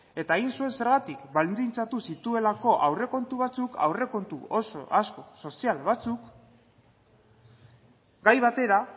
eta egin zuen zergatik baldintzatu zituelako aurrekontu batzuk aurrekontu sozial batzuk gai batera